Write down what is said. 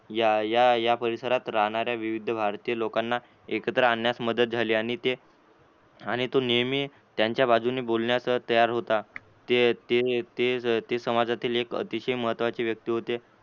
या या परिसरात राहणाऱ्या विविध भारतीय लोक लोकांना एकत्र आणण्यास मदत झाली आणि ते आणि तू नेहमी त्यांच्या बाजूने बोलण्यास तयार होत ते ते ते समाजातील एक अतिशय महत्त्वाची व्यक्ती होते.